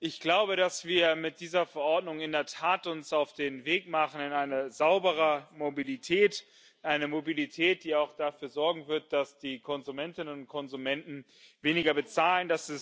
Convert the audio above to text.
Ich glaube, dass wir uns mit dieser Verordnung in der Tat auf den Weg machen in eine saubere Mobilität, eine Mobilität, die auch dafür sorgen wird, dass die Konsumentinnen und Konsumenten weniger bezahlen.